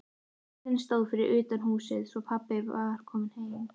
Bíllinn stóð fyrir utan húsið, svo pabbi var kominn heim.